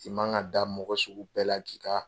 I man ka da mɔgɔ sugu bɛɛ la k'i ka